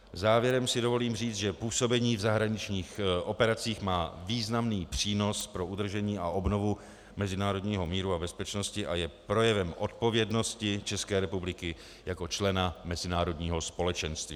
Závěrem si dovolím říci, že působení v zahraničních operacích má významný přínos pro udržení a obnovu mezinárodního míru a bezpečnosti a je projevem odpovědnosti České republiky jako člena mezinárodního společenství.